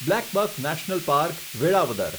blackbuck national park, Velavadar